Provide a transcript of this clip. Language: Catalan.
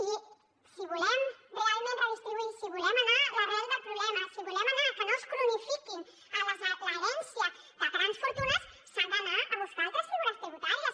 i si volem realment redistribuir si volem anar a l’arrel del problema si volem anar a que no es cronifiquin l’herència de grans fortunes s’han d’anar a buscar altres figures tributàries